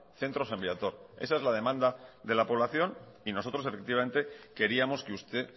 centro san viator esa es la demanda de la población y nosotros efectivamente queríamos que usted